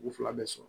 U fila bɛɛ sɔrɔ